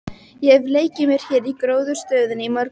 Ég hef leikið mér hér í gróðrarstöðinni í mörg ár.